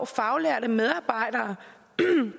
faglærte medarbejdere